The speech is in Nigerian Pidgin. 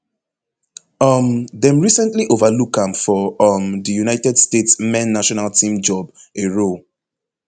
um dem recently overlook am for um di united states men national team job a role